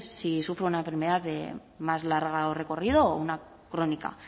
si sufro una enfermedad de más largo recorrido o una crónica